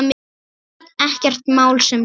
Ekkert mál sem sagt.